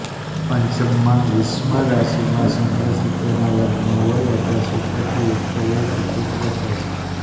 પંચમમાં વિષમ રાશિમાં ચંદ્ર શુક્રના વર્ગમાં હોય અથવા શુક્રથી યુક્ત હોય તો પુત્ર થાય છે